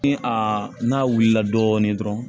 Ni a n'a wulila dɔɔnin dɔrɔn